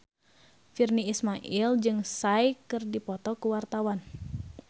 Virnie Ismail jeung Psy keur dipoto ku wartawan